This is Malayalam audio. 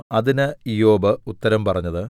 അതിന് ഇയ്യോബ് ഉത്തരം പറഞ്ഞത്